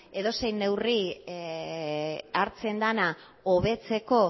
edozein neurri hartzen dena hobetzeko